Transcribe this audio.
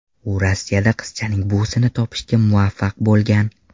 U Rossiyada qizchaning buvisini topishga muvaffaq bo‘lgan.